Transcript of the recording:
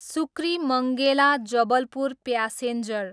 सुक्रिमङ्गेला, Jabalpur passenger